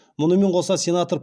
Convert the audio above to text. мұнымен қоса сенатор